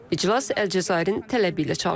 İclas Əlcəzairin tələbi ilə çağırılıb.